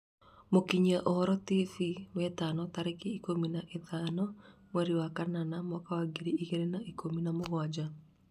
mũkinyia ũhoro tv wetano tarĩki ikũmi na inyanya mweri wa kanana mwaka wa ngiri igĩrĩ na ikũmi na mũgwanja